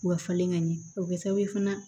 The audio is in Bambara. U ka falen ka ɲɛ o bɛ kɛ sababu ye fana